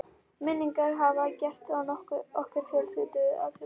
Minningarnar hafa gert okkur aftur að fjölskyldu.